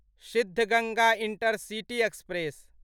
Siddaganga intercity express